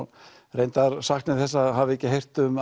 reyndar sakna ég þess að hafa ekki heyrt um